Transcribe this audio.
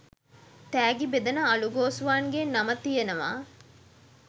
තෑගි බෙදන අළුගෝසුවන්ගේ නම තියෙනවා